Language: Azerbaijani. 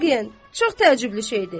Vaqen, çox təəccüblü şeydir.